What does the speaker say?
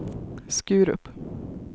Skurup